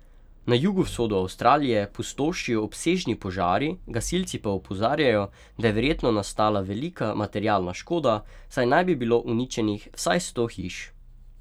Na jugovzhodu Avstralije pustošijo obsežni požari, gasilci pa opozarjajo, da je verjetno nastala velika materialna škoda, saj naj bi bilo uničenih vsaj sto hiš.